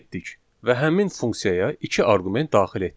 Və həmin funksiyaya iki arqument daxil etdik.